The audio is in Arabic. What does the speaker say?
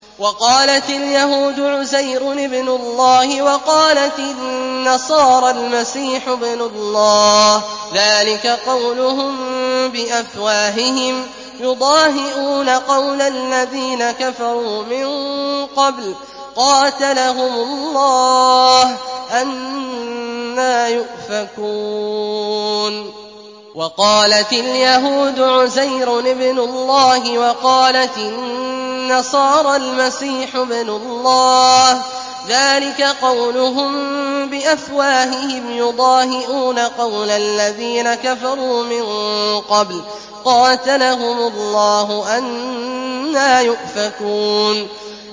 وَقَالَتِ الْيَهُودُ عُزَيْرٌ ابْنُ اللَّهِ وَقَالَتِ النَّصَارَى الْمَسِيحُ ابْنُ اللَّهِ ۖ ذَٰلِكَ قَوْلُهُم بِأَفْوَاهِهِمْ ۖ يُضَاهِئُونَ قَوْلَ الَّذِينَ كَفَرُوا مِن قَبْلُ ۚ قَاتَلَهُمُ اللَّهُ ۚ أَنَّىٰ يُؤْفَكُونَ